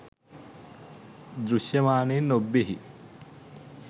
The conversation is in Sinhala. දෘශ්‍යමානයෙන් ඔබ්බෙහි